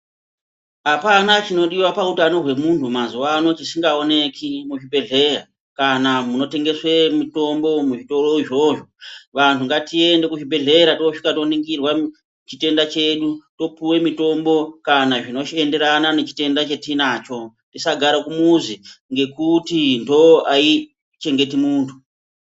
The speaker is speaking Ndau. Apana chinodiwa pa utano hwe munhu mazuvano chisinga oneki mu zvibhehleya kana muno tengeswa mutombo muzvitoro izvozvo vanhu ngatiende ku zvibhedhlera tosvika to ningirwa chitenda chedu topuwe mitombo kana zvino shandirana ne chitenda chatinacho tisa gara kumuzi nekuti ndovo aichengeto muntu.